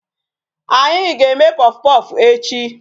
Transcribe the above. Anyị ga-eme puffpuff echi.